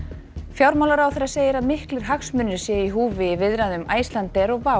fjármálaráðherra segir að miklir hagsmunir séu í húfi í viðræðum Icelandair og